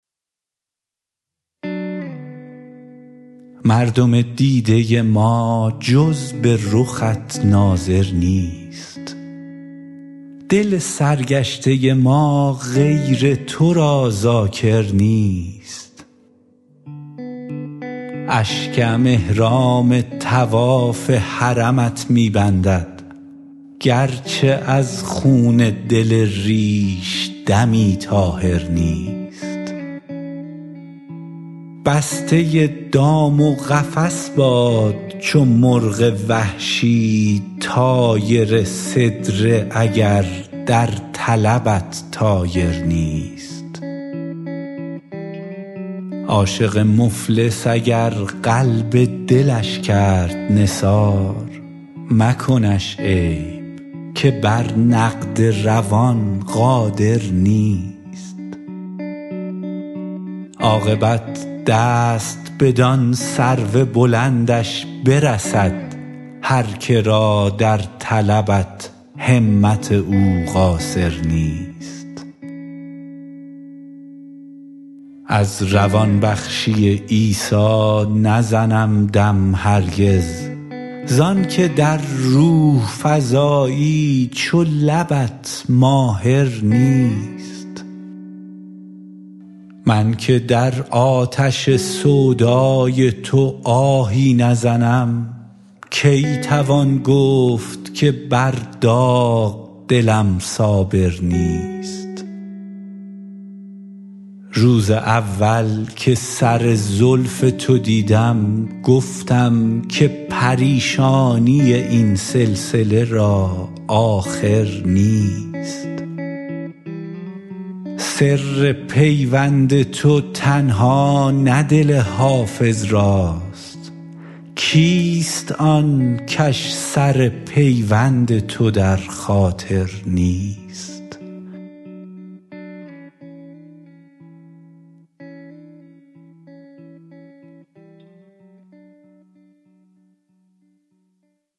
مردم دیده ما جز به رخت ناظر نیست دل سرگشته ما غیر تو را ذاکر نیست اشکم احرام طواف حرمت می بندد گرچه از خون دل ریش دمی طاهر نیست بسته دام و قفس باد چو مرغ وحشی طایر سدره اگر در طلبت طایر نیست عاشق مفلس اگر قلب دلش کرد نثار مکنش عیب که بر نقد روان قادر نیست عاقبت دست بدان سرو بلندش برسد هر که را در طلبت همت او قاصر نیست از روان بخشی عیسی نزنم دم هرگز زان که در روح فزایی چو لبت ماهر نیست من که در آتش سودای تو آهی نزنم کی توان گفت که بر داغ دلم صابر نیست روز اول که سر زلف تو دیدم گفتم که پریشانی این سلسله را آخر نیست سر پیوند تو تنها نه دل حافظ راست کیست آن کش سر پیوند تو در خاطر نیست